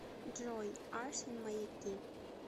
джой арс эн маяки